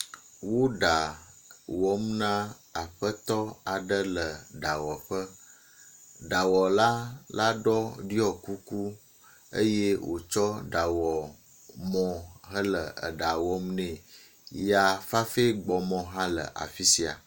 Wo ɖa wɔm na aƒetɔ aɖe le ɖa wɔƒe, ɖawɔla la ɖɔ ɖiɔ kuku eye wotsɔ ɖawɔmɔ hele ɖaa wɔm nɛ. Ya fafa gbɔmɔ hã le afi sia.